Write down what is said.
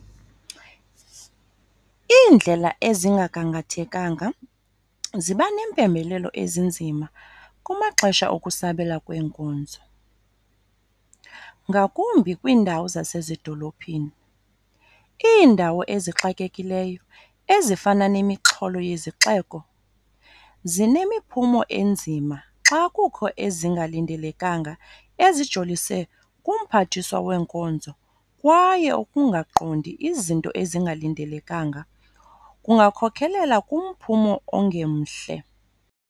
Iindlela ezingagangathekanga ziba neempembelelo ezinzima kumaxesha okusabela kweenkonzo, ngakumbi kwiindawo zasezidolophini. Iindawo ezixakekileyo ezifana nemixholo yezixeko zinemiphumo enzima xa kukho ezingalindelekanga ezijolise kumphathiswa weenkonzo kwaye ukungaqondi izinto ezingalindelekanga kungakhokhelela kumphumo ongemhle.